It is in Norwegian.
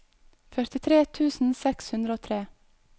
førtitre tusen seks hundre og tre